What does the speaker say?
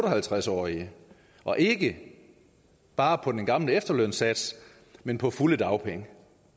og halvtreds årig og ikke bare på den gamle efterlønssats men på fulde dagpenge